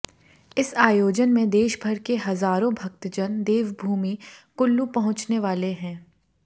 इस आयोजन में देशभर के हजारों भक्तजन देवभूमि कुल्लू पहुंचने वाले हैं